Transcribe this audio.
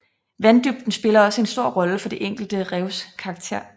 Vanddybden spiller også en stor rolle for det enkelte revs karakter